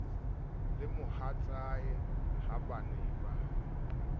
le mohatsae ha ba ne